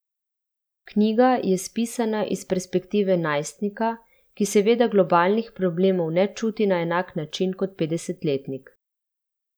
Knjiga je spisana iz perspektive najstnika, ki seveda globalnih problemov ne čuti na enak način kot petdesetletnik.